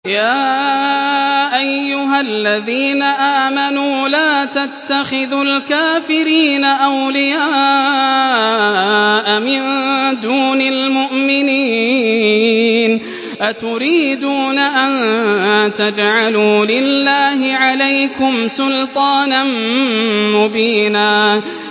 يَا أَيُّهَا الَّذِينَ آمَنُوا لَا تَتَّخِذُوا الْكَافِرِينَ أَوْلِيَاءَ مِن دُونِ الْمُؤْمِنِينَ ۚ أَتُرِيدُونَ أَن تَجْعَلُوا لِلَّهِ عَلَيْكُمْ سُلْطَانًا مُّبِينًا